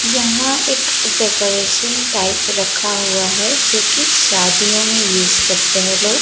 यहां एक decoration type रखा हुआ है जोकि शादियों में यूस करते हैं लोग।